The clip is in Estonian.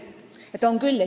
Jah, on küll.